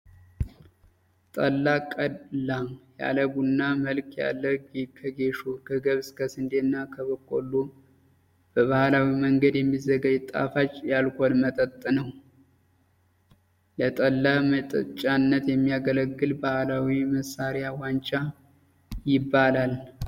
ጠላ ቀላ ያለ ቡና መልክ ያለው ከጌሾ፣ ከገብስ፣ ከስንዴ፣ እና ከበቆሎ በባህላዊ መንገድ የሚዘጋጅ ጣፋጭ የአልኮል መጠጥ ነው። ለጠላ መጠጫነት የሚያገለግል ባህላዊ መሳሪያ ዋንጫ ይባላል።